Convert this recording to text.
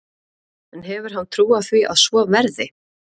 En hefur hann trú á því að svo verði?